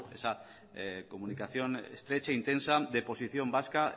esa comunicación estrecha intensa de posición vasca